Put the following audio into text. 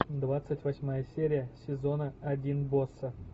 двадцать восьмая серия сезона один босса